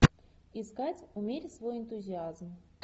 искать умерь свой энтузиазм